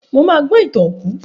Mo ma gbó ìtàn òkú